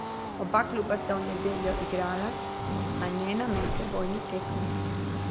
Oba kluba sta v nedeljo igrala, a ne na medsebojni tekmi.